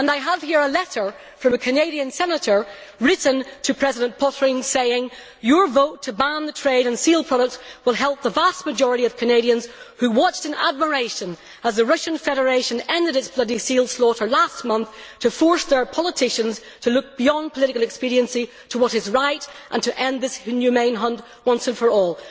I have here a letter from a Canadian senator written to President Pöttering saying Your vote to ban the trade in seal products will help the vast majority of Canadians who watched in admiration as the Russian Federation ended its bloody seal slaughter last month to force their politicians to look beyond political expediency to what is right and to end this inhumane hunt once and for all.